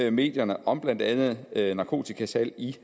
i medierne om blandt andet narkotikasalg i